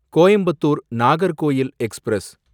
Coimbatore Nagercoil express